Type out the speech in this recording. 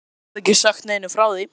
Ég hef ekki sagt neinum frá því.